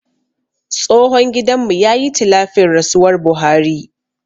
Tsohon gidan mu ya yi tilafin rasuwar buhari